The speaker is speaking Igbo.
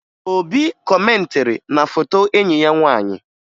Obi kọmentịrị na foto enyi ya nwaanyị